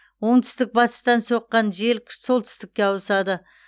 оңтүстік батыстан соққан жел солтүстікке ауысады